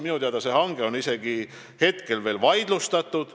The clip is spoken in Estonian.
Minu teada on see hange praegu isegi vaidlustatud.